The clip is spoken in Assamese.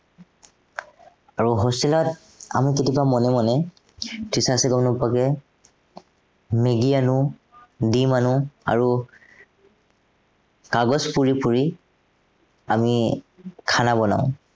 আৰু hostel ত আমি কেতিয়াবা মনে মনে, tuition চিউচন নকৰাকে মেগী আনো, ডিম আনো আৰু কাগজ পুৰি পুৰি, আমি বনাও।